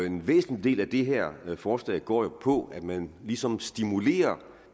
en væsentlig del af det her forslag går jo på at man ligesom stimulerer